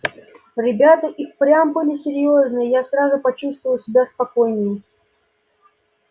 ребята и впрямь были серьёзные я сразу почувствовал себя спокойнее